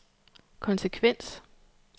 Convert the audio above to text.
konsekvens